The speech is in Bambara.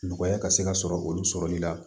Nɔgɔya ka se ka sɔrɔ olu sɔrɔli la